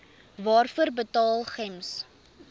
waarvoor betaal gems